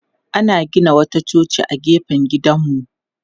Ana gina wata coci a gefen gidanmu.